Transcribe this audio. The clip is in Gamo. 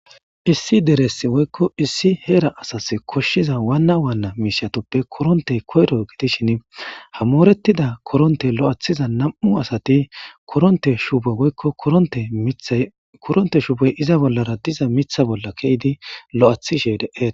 issi deresi woykko issi heera asas koshshiza waanna waanna miishiatoppe korontey koyro gidishin hamorettida koronte lo7athiza nam'u asati koronte shueoykko oote mithay koronte shuubey iza bollara diza mitha bolla ke'idi lo'athishe dee'te